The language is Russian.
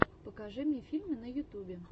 покажи мне фильмы на ютубе